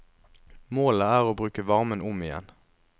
Målet er å bruke varmen om igjen.